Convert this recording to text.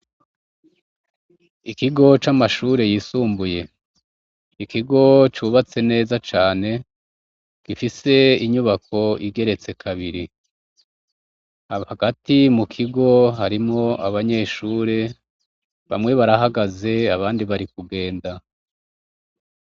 Ikigo c’amashuri yisumbuye, ikigo cubatse neza cane, gifise inyubako igeretse kabiri , hagati mukigo harimwo abanyeshure, bamwe barahagaze abandi bari kugenda.